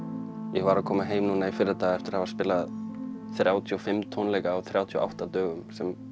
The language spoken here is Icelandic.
ég var að koma heim núna í fyrradag eftir að hafa spilað þrjátíu og fimm tónleika á þrjátíu og átta dögum